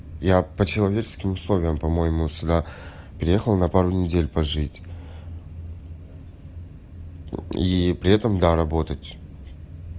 я по-человечески условиям по-моему сюда приехал на пару недель пожить и при этом да работать